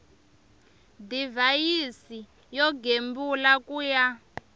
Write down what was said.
divhayisi yo gembula ku ya